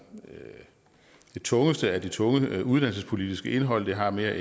det tungeste af det tunge uddannelsespolitiske indhold det har mere